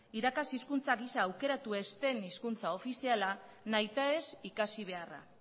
irakaste hizkuntza gisa aukeratu ez dut hizkuntza ofiziala nahitaez ikasi beharra